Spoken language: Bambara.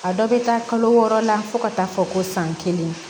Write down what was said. A dɔ bɛ taa kalo wɔɔrɔ la fo ka taa fɔ ko san kelen